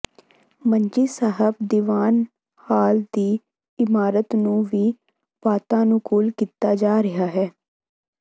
ਮੰਜੀ ਸਾਹਿਬ ਦੀਵਾਨ ਹਾਲ ਦੀ ਇਮਾਰਤ ਨੂੰ ਵੀ ਵਾਤਾਨੁਕੂਲ ਕੀਤਾ ਜਾ ਰਿਹਾ ਹੈ